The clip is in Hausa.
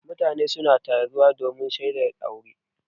Mutane suna taruwa domin shaidar aure.